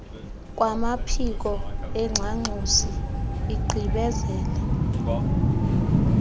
kwamaphiko engxangxosi igqibezela